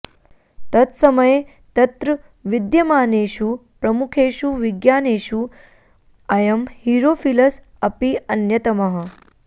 तत्समये तत्र विद्यमानेषु प्रमुखेषु विज्ञानिषु अयं हीरोफिलस् अपि अन्यतमः